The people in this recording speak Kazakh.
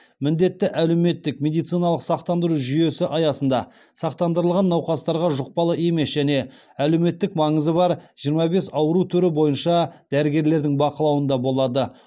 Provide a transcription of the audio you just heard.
міндетті әлеуметтік медициналық сақтандыру жүйесі аясында сақтандырылған науқастарға жұқпалы емес және әлеуметтік маңызы бар жиырма бес ауру түрі бойынша дәрігерлердің бақылауында болады